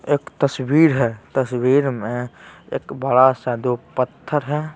एक तस्वीर हैं तस्वीर में एक बड़ा सा दो पत्थर हैं।